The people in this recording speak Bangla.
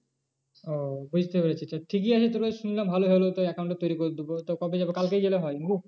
ও বুঝতে পেরেছি তো ঠিকই আছে শুনলাম ভালোই হলো তো account টা তৈরী করে দেবো তো কবে যাবো কালকেই গেলে হয় না কি?